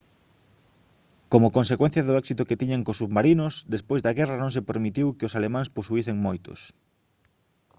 como consecuencia do éxito que tiñan cos submarinos despois da guerra non se permitiu que os alemáns posuísen moitos